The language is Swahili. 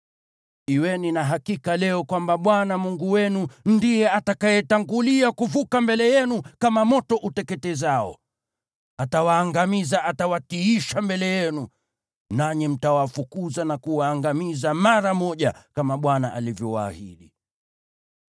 Kuweni na hakika leo kwamba Bwana Mungu wenu ndiye atakayetangulia kuvuka mbele yenu kama moto uteketezao. Atawaangamiza; atawatiisha mbele yenu. Nanyi mtawafukuza na kuwaangamiza mara moja, kama Bwana alivyowaahidi.